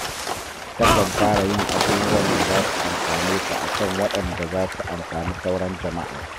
Takan fara yin abubuwan da za su amfane ta a kan waɗanda za su amfani sauran jama'a